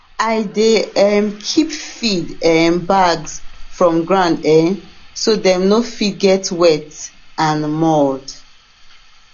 i dey um keep feed um bags from ground um so dem no fit get wet and mould